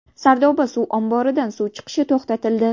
Sardoba suv omboridan suv chiqishi to‘xtatildi.